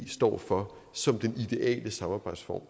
står for som den ideale samarbejdsform